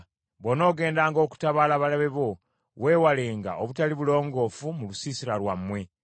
“Bw’onoogendanga okutabaala abalabe bo weewalenga obutali bulongoofu mu lusiisira lwammwe.